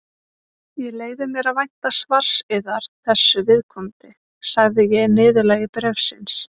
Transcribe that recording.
Ég leyfi mér að vænta svars yðar þessu viðkomandi, sagði ég í niðurlagi bréfsins.